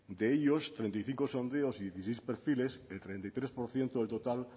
de ellos treinta y cinco sondeos y dieciséis perfiles el treinta y tres por ciento del total